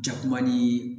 Jakuma ni